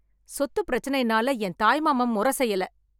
சொத்து பிரச்சனைனால என் தாய் மாமன் முறை செய்யல.